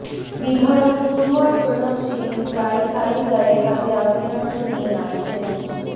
বিধায়ক কুনওয়ার প্রণব সিং প্রায় খালি গায়ে হাতে আগ্নেয়াস্ত্র নিয়ে নাচছেন